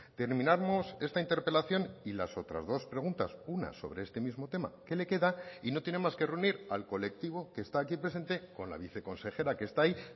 terminamos esta interpelación y las otras dos preguntas una sobre este mismo tema que le queda y no tiene más que reunir al colectivo que está aquí presente con la viceconsejera que está ahí